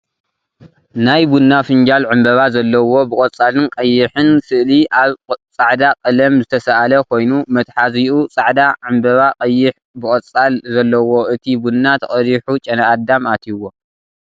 ናይ ቡና ፍንጃል ዕምበባ ዘለዎ ብቆፃልን ቀይሕን ስእሊ ኣብ ፃዕዳ ቀለም ዝተሰኣለ ኮይኑ መትሓዚኡ ፃዕዳ ዕምበባ ቀይሕ ብቆፃል ዘለዎ እቲ ቡና ተቀዲሑ ጨና ኣዳም ኣትዩዎ ።